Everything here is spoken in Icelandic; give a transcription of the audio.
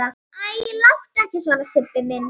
Æ, láttu ekki svona Sibbi